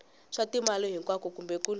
swa timali hinkwako kumbe kun